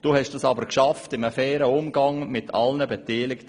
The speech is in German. Du hast das aber geschafft, in einem fairen Umgang mit allen Beteiligten.